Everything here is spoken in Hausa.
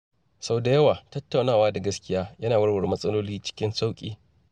Sau da yawa, tattaunawa da gaskiya yana warware matsaloli cikin sauƙi.